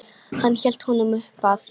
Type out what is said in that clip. Hann hélt honum uppað sér.